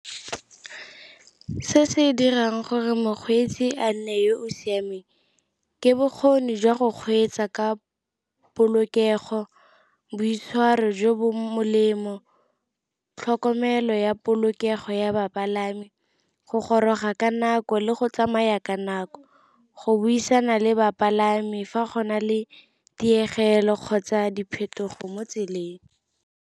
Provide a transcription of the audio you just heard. Se se dirang gore mokgweetsi a nne yo o siameng ke bokgoni jwa go kgweetsa ka polokego, boitshwaro jo bo molemo, tlhokomelo ya polokego ya bapalami, go goroga ka nako le go tsamaya ka nako, go buisana le bapalami fa go na le tiego pelo kgotsa diphetogo mo tseleng.